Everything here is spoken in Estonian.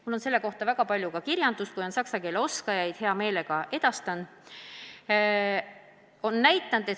Mul on selle kohta väga palju ka kirjandust, kui on saksa keele oskajaid, siis hea meelega edastan selle.